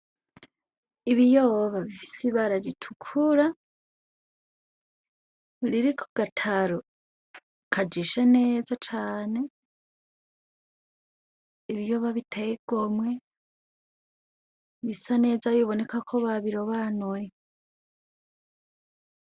Ibiyoba isi bararitukura ririko gataro kajishe neza cane ibiyoba biteye gomwe bisa neza biboneka ko ba birobanuwe.